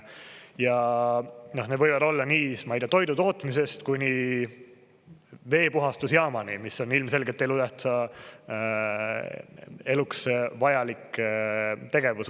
Ja need võivad olla nii toidu tootmisest kuni veepuhastusjaamani, mis on ilmselgelt elutähtsa eluks vajalik tegevus.